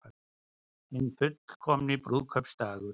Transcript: Hinn fullkomni brúðkaupsdagur